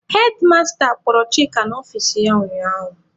Hedmasta kpọrọ Chika n'ọfici ya ụnyaahụ.